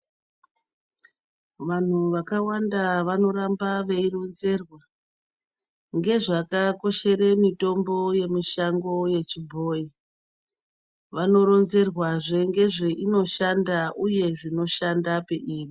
Vantu vakawanda vanoramba veyiron zerwa ngezvakakoshera mitombo yemishango echibhoyi vanoronzerwa zve nezveino shanda uye zvinoshanda peyiri.